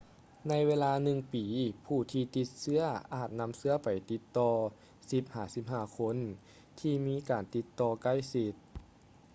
ໃນເວລາໜຶ່ງປີ ຜູ້ທີ່ຕິດເຊຶ້ອອາດນຳເຊື້ອໄປຕິດຕໍ່ 10-15 ຄົນທີ່ມີການຕິດຕໍ່ໃກ້ຊິດ